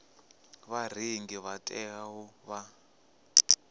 vharengi vha tea u vha